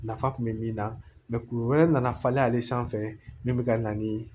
Nafa kun bɛ min na kulu wɛrɛ nana falen ale sanfɛ min bɛ ka na ni